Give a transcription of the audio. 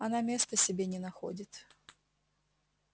она места себе не находит